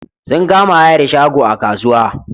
Sun kama hayar shago a kasuwa.